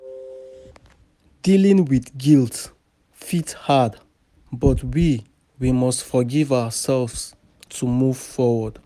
Dealing with guilt fit hard, but we we must forgive ourselves to move forward.